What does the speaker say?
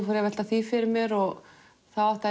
fór að velta því fyrir mér og þá áttaði